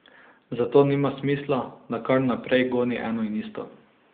Zato nima smisla, da kar naprej goni eno in isto.